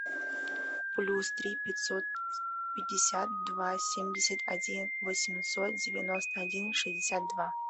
плюс три пятьсот пятьдесят два семьдесят один восемьсот девяносто один шестьдесят два